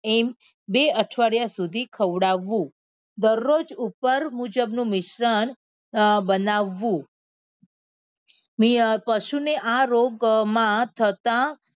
એમ બે અઠવાડિયા સુધી ખવડાવવું દરરોજ ઉપર મુજબ નું મિશ્રણ બનાવવું મી અ પશુ ને આ રોગ માં થતા